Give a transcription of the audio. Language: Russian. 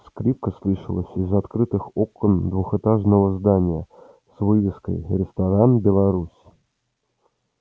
скрипка слышалась из открытых окон двухэтажного здания с вывеской ресторан беларусь